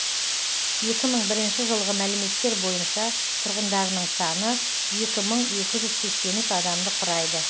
екі мың бірінші жылғы мәліметтер бойынша тұрғындарының саны екі мың екі жүз сексен үш адамды құрайды